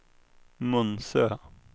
Munsö